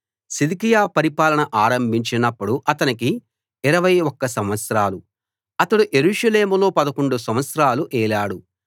సిద్కియా పరిపాలన ఆరంభించినప్పుడు అతనికి 21 సంవత్సరాలు అతడు యెరూషలేములో 11 సంవత్సరాలు ఏలాడు